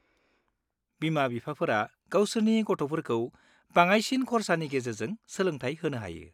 -बिमा-बिफाफोरा गावसोरनि गथ'फोरखौ बाङाइसिन खरसानि गेजेरजों सोलोंथाय होनो हायो।